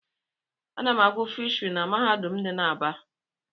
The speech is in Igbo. Ana m agụ fishiry n'mahadum dị n'Aba.